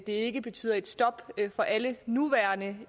ikke betyder et stop for alle nuværende